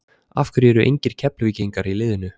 Af hverju eru engir Keflvíkingar í liðinu?